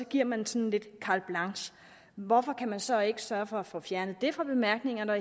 giver man sådan lidt carte blanche hvorfor kan man så ikke sørge for at få fjernet det fra bemærkningerne og